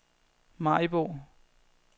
Maribo